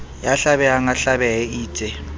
ya hlabehang a hlabehe eitse